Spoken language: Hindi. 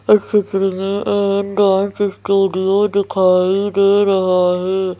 इस चित्र में हमे एक डांस स्टूडियो दिख रहा है.